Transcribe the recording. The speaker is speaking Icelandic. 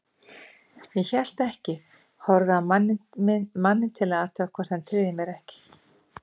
Ég hélt ekki, horfði á manninn til að athuga hvort hann tryði mér ekki.